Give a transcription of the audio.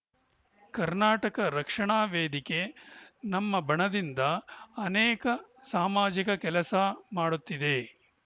ಕರ್ನಾಟಕ ರಕ್ಷಣಾ ವೇದಿಕೆ ನಮ್ಮ ಬಣದಿಂದ ಅನೇಕ ಸಾಮಾಜಿಕ ಕೆಲಸ ಮಾಡುತ್ತಿದೆ